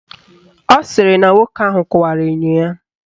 Ọ sịrị na nwoke ahụ kụwara enyo ya.